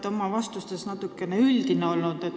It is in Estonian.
Te olete oma vastustes natukene liiga üldise jutuga piirdunud.